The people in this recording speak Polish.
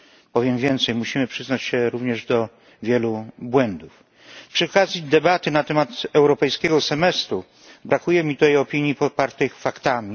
Powiem więcej, musimy przyznać się również do wielu błędów. Przy okazji debaty na temat europejskiego semestru brakuje mi tu opinii popartych faktami.